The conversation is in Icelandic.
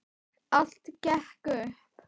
Allt gekk upp.